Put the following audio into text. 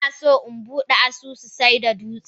Inaso inbude asusun saida dutse.